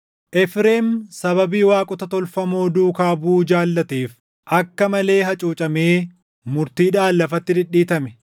Efreem sababii waaqota tolfamoo duukaa buʼuu jaallateef akka malee hacuucamee murtiidhaan lafatti dhidhiitame.